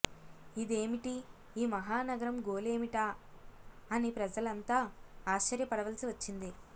ఇదేమిటి ఈ మహానగరం గోలేమిటా అని ప్రజలంతా ఆశ్చర్యపడవలసి వచ్చింది